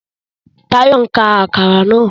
Tayo n ká Àkàrà náà